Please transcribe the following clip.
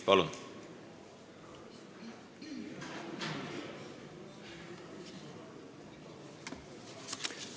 Palun!